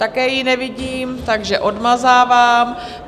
Také ji nevidím, takže odmazávám.